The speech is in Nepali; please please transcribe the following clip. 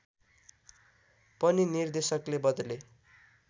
पनि निर्देशकले बदले